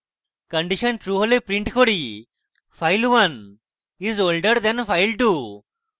condition true হলে আমরা print করি file1 is older than file2